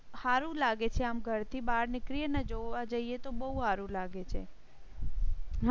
હારું લાગે છે. આમ ઘર થી બહાર નીકળી ને જોવા જઈએ તો બહુ સારું લાગે છે.